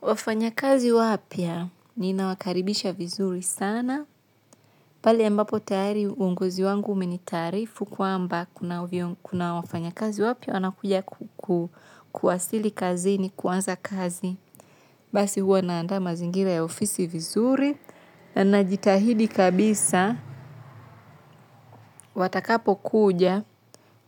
Wafanya kazi wapya ninawakaribisha vizuri sana. Pale ambapo tayari uongozi wangu umenitaarifu kwamba kuna wafanyakazi wapya wana kuja kuwasili kazi ni kuanza kazi. Basi huwa naandaa mazingira ya ofisi vizuri. Najitahidi kabisa, watakapokuja